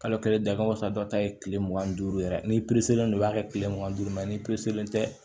Kalo kelen dakɔrɔnsan dɔ ta ye kile mugan ni duuru yɛrɛ ni don i b'a kɛ kile mugan ni duuru ma ni tɛ